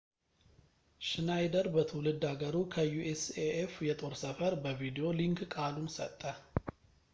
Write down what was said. ሽናይደር በትውልድ ሃገሩ ከ usaf የጦር ሰፈር በቪዲዮ ሊንክ ቃሉን ሰጠ